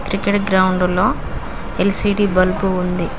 Cricket గ్రౌండులో LCD bulb ఉంది.